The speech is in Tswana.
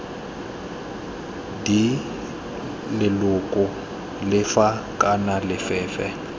d leloko lefe kana lefe